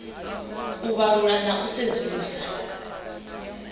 u vhalula na u sedzulusa